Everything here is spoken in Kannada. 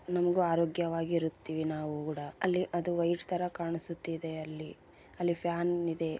ನಮಗ ಆರೋಗ್ಯವಾಗಿ ಇರುತ್ತಿವಿ ನಾವು ಗೂಡ ಅಲ್ಲಿ ಅದು ವೈಫ್ ತರ ಕಾಣಿಸುತ್ತಿದೆ ಅಲ್ಲಿ ಅಲ್ಲಿ ಫ್ಯಾನ್ ಇದೆ.